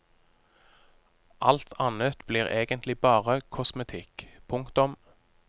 Alt annet blir egentlig bare kosmetikk. punktum